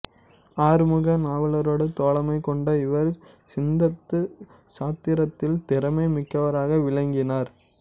ஆறுமுக நாவலரோடு தோழமை கொண்ட இவர் சித்தந்த சாத்திரத்தில் திறமை மிக்கவராக விளங்கினார்